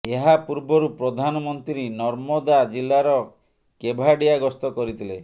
ଏହା ପୂର୍ବରୁ ପ୍ରଧାନମନ୍ତ୍ରୀ ନର୍ମଦା ଜିଲ୍ଲାର କେଭାଡିଆ ଗସ୍ତ କରିଥିଲେ